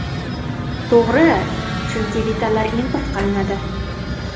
To‘g‘ri, chunki detallar import qilinadi.